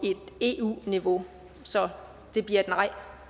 et eu niveau så det bliver et nej